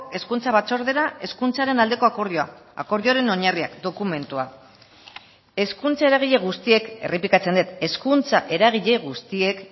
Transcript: hezkuntza batzordera hezkuntzaren aldeko akordioa akordioaren oinarriak dokumentua hezkuntza eragile guztiek errepikatzen dut hezkuntza eragile guztiek